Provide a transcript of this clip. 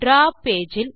draw page